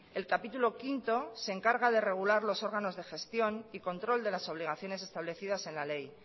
el capítulo quinto se encarga de regular los órganos de gestión y control de las obligaciones establecidas en la ley